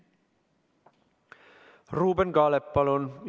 Ruuben Kaalep, palun!